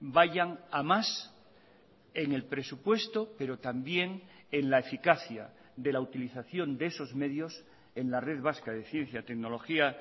vayan a más en el presupuesto pero también en la eficacia de la utilización de esos medios en la red vasca de ciencia tecnología